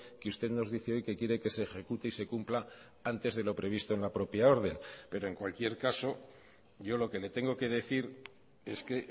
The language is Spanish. que usted nos dice hoy que quiere que se ejecute y se cumpla antes de lo previsto en la propia orden pero en cualquier caso yo lo que le tengo que decir es que